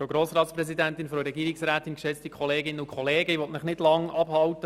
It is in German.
Ich will Sie nicht lange vom Mittagessen abhalten.